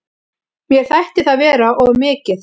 Mér þætti það vera of mikið.